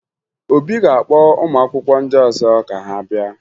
Obi ga-akpọ ụmụakwụkwọ ndị ọzọ ka ha bịa